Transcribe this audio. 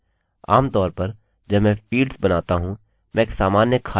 आमतौर पर जब मैं फील्ड्स बनाता हूँ मैं एक सामान्य खाली डाक्युमेन्टdocument लाऊँगा